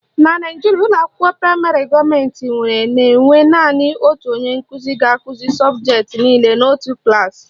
Na Naijiria, ụlọakwụkwọ praịmarị gọọmentị nwere na-enwe naanị otu onye nkụzi ga-akụzi sọbụjetị niile n'otu klaasị